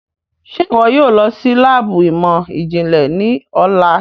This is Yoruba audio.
Ṣe iwọ yóò lọ si laabu imọ-jinlẹ ni ọla?